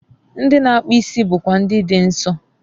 Ndị na-akpụ isi bụkwa Ndị Dị Nsọ